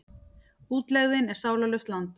Útlegðin er sálarlaust land.